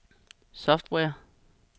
software